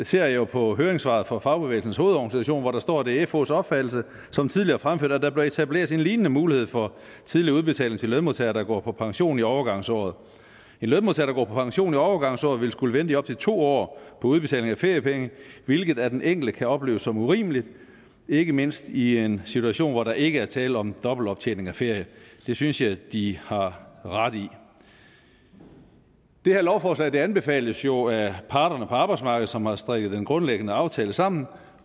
ser jeg jo på høringssvaret fra fagbevægelsens hovedorganisation hvor der står at det er fhs opfattelse som tidligere fremført at der bør etableres en lignende mulighed for tidlig udbetaling til lønmodtagere der går på pension i overgangsåret en lønmodtager der går på pension i overgangsåret vil skulle vente i op til to år på udbetaling af feriepenge hvilket af den enkelte kan opleves som urimeligt ikke mindst i en situation hvor der ikke er tale om dobbelt optjening af ferie det synes jeg de har ret i det her lovforslag anbefales jo af parterne på arbejdsmarkedet som har strikket den grundlæggende aftale sammen og